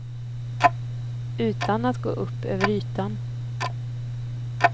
Utan att gå upp över ytan.